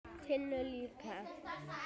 Tinnu líka.